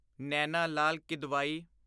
Naina Lal Kidwai